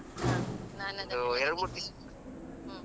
ನಾನದ ಹ್ಮ್.